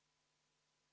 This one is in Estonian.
V a h e a e g